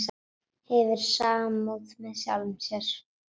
Hefur samúð með sjálfum sér.